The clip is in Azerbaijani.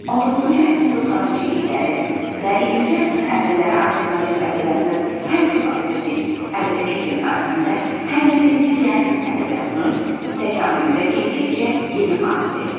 19-cu əsrin 90-cı illəri və 20-ci əsrin əvvəlləri Azərbaycan ədəbiyyatı həm çoxəsrlik ədəbi fikrin tarixində, həm də milli realist ədəbiyyatının təkamülündə keyfiyyətcə yeni hadisə idi.